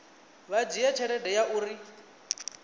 vha dzhie tsheo ya uri